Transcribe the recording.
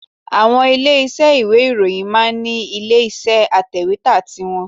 Àwọn ilé iṣẹ́ ìwé ìròyìn máa ń ní ilé iṣẹ́ atẹ̀wẹ́tà ti wọn